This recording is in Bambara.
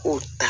O ta